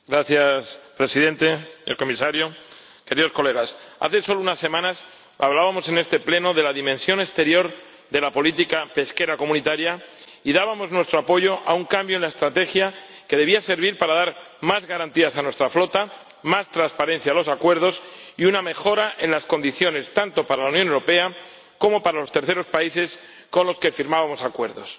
Señor Presidente, señor Comisario, queridos colegas, hace solo unas semanas hablábamos en este pleno de la dimensión exterior de la política pesquera comunitaria y dábamos nuestro apoyo a un cambio en la estrategia que debía servir para dar más garantías a nuestra flota, más transparencia a los acuerdos y una mejora en las condiciones, tanto para la Unión Europea como para los terceros países con los que firmábamos acuerdos.